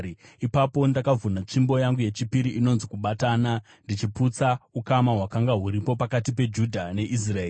Ipapo ndakavhuna tsvimbo yangu yechipiri inonzi Kubatana ndichiputsa ukama hwakanga huripo pakati peJudha neIsraeri.